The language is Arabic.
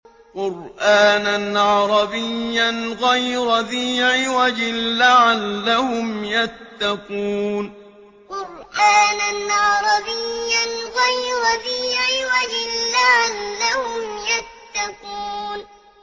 قُرْآنًا عَرَبِيًّا غَيْرَ ذِي عِوَجٍ لَّعَلَّهُمْ يَتَّقُونَ قُرْآنًا عَرَبِيًّا غَيْرَ ذِي عِوَجٍ لَّعَلَّهُمْ يَتَّقُونَ